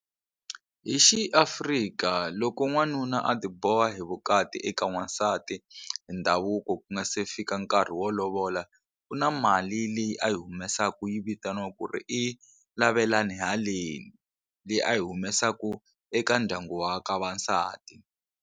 Hi xiAfrika loko n'wanuna a ti boha hi vukati eka n'wansati hi ndhavuko ku nga se fika nkarhi wo lovola ku na mali leyi a yi humesaka yi vitaniwa ku ri i lavelani haleni leyi a yi humesaku eka ndyangu wa ka va nsati.